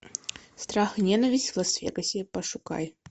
страх и ненависть в лас вегасе пошукай